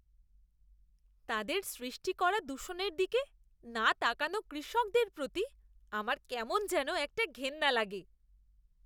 তাদের সৃষ্টি করা দূষণের দিকে না তাকানো কৃষকদের প্রতি আমার কেমন যেন একটা ঘেন্না লাগে।